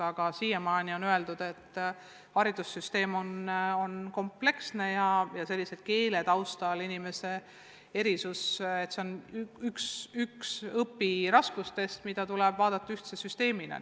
Aga siiani on öeldud, et haridussüsteem on kompleksne ja keelest tulenev erisus on üks õpiraskustest, millele tuleb läheneda ühtse süsteemina.